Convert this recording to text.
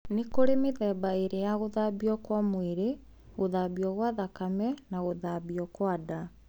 Nĩkũrĩ mĩthemba ĩrĩ ya gũthambio kwa mwĩrĩ: gũthambio gwa thakame na gũthambio gwa nda